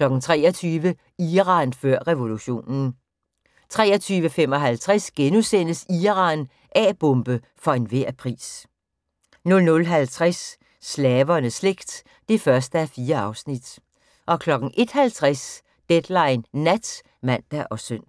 23:00: Iran før revolutionen 23:55: Iran – A-bombe for enhver pris * 00:50: Slavernes slægt (1:4) 01:50: Deadline Nat (man og søn)